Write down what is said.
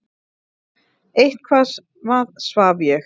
Eitthvað svaf ég.